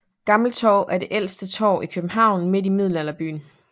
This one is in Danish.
Gammeltorv er det ældste torv i København midt i Middelalderbyen